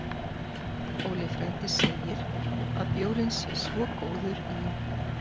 Óli frændi segir að bjórinn sé svo góður í